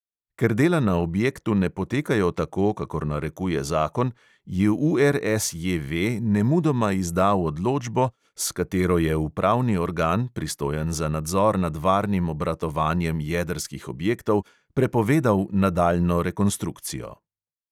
Ker dela na objektu ne potekajo tako, kakor narekuje zakon, je URSJV nemudoma izdal odločbo, s katero je upravni organ, pristojen za nadzor nad varnim obratovanjem jedrskih objektov, prepovedal nadaljnjo rekonstrukcijo.